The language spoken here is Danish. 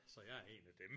Så jeg er en af dem